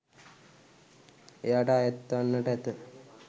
එයට අයත්වන්නට ඇත.